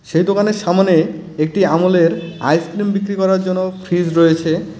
সেই দোকানের সামনে একটি আমুলের আইসক্রিম বিক্রি করার জন্য ফ্রিজ রয়েছে.